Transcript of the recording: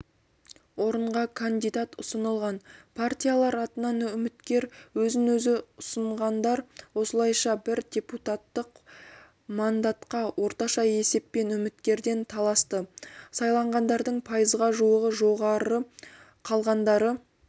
орынға кандидат ұсынылған партиялар атынан үміткер өзін-өзі ұсынғандар осылайша бір депутаттық мандатқа орташа есеппен үміткерден таласты сайланғандардың пайызға жуығы жоғары қалғандары